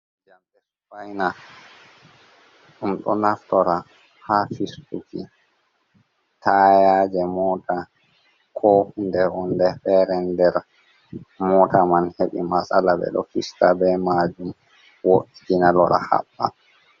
Jamɗe spaina: ɗum ɗo naftora ha fistuki tayaje mota, ko hunde wonde fere nder mota man heɓi matsala ɓeɗo fista be majum wo'itina lora haɓɓa.